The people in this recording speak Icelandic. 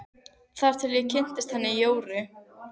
Þar til ég kynntist henni Jóru.